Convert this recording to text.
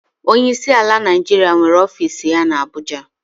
Onyeisi ala Naijiria nwere ọfiisi ya na Abụja.